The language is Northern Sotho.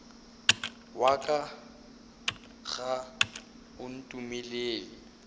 wa ka ga o ntumelele